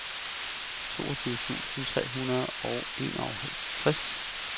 toogtyve tusind tre hundrede og enoghalvtreds